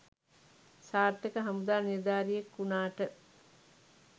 සාර්ථක හමුදා නිලධාරියෙක් වුනාට